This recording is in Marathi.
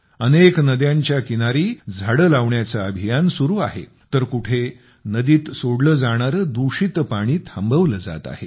अनेक नद्यांच्या किनारी झाडे लावण्याचे अभियान चालू आहे तर कुठे नदीत सोडले जाणारे दूषित पाणी थांबवले जात आहे